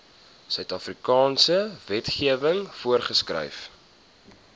suidafrikaanse wetgewing voorgeskryf